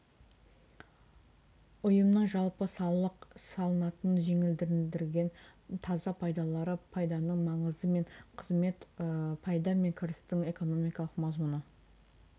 ұйымның жалпы салық салынатын жеңілдендірілген таза пайдалары пайданың маңызы мен қызметі пайда мен кірістің экономикалық мазмұны